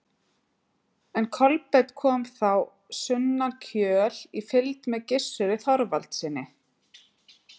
En Kolbeinn kom þá sunnan Kjöl í fylgd með Gissuri Þorvaldssyni.